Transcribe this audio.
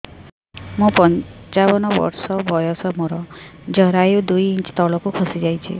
ମୁଁ ପଞ୍ଚାବନ ବର୍ଷ ବୟସ ମୋର ଜରାୟୁ ଦୁଇ ଇଞ୍ଚ ତଳକୁ ଖସି ଆସିଛି